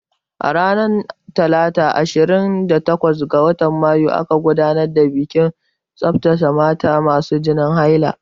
Ranar talata ashirin da takwas ga watan mayu aka gudanar da bikin tsaftan mata masu jinin haila.